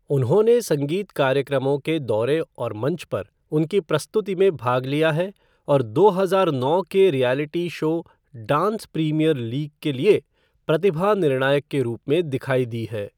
उन्होंने संगीत कार्यक्रमओं के दौरे और मंच पर उनकी प्रस्तुति में भाग लिया है और दो हजार नौ के reality show dance premier league के लिए प्रतिभा निर्णायक के रूप में दिखाई दी है।